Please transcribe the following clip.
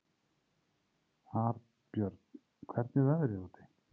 Arnbjörn, hvernig er veðrið úti?